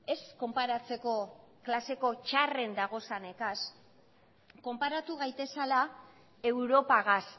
ez konparatzeko klaseko txarren dagozanegaz konparatu gaitezala europagaz